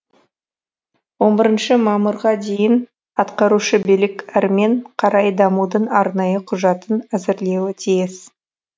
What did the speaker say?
он бірігнші мамырға дейін атқарушы билік әрмен қарай дамудың арнайы құжатын әзірлеуі тиіс